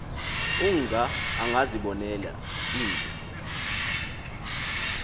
unga angazibonela into